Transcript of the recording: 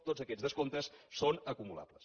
tots aquests descomptes són acumulables